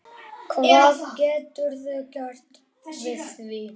Hvað geturðu gert við því?